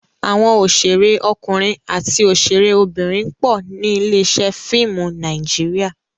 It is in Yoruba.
Àwọn òṣèré ọkùnrin àti òṣèré obìnrin pọ̀ ní ilé-iṣẹ́ fíìmù Nàíjíríà.